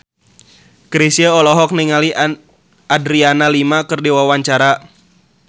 Chrisye olohok ningali Adriana Lima keur diwawancara